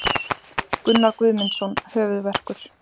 Gunnar Guðmundsson Höfuðverkur.